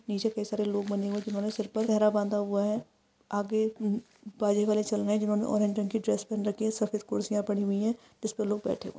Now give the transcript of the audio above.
नीचे कै सारे लोग बने हुए हई जिन्होंने सर पर सेहरा बांधा हुआ है आगे जिन्होंने ऑरेंज रंग की ड्रेस पेहन रखी है सफेद कुरसिया पडी हुई है जिस्पे लोग बेठे हुए--